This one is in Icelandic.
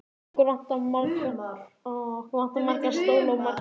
Okkur vantar marga stóla og margar tölvur.